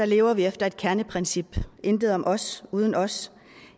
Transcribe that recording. lever vi efter et kerneprincip intet om os uden os